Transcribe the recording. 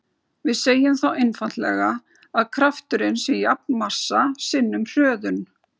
Við segjum þá einfaldlega að krafturinn sé jafn massa sinnum hröðun.